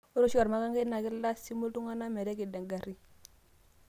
ore oshi olmakangai naa kilasimu iltung'anak metekedo engarri